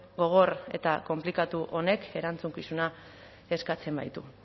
gogor eta konplikatu honek erantzukizuna eskatzen baitu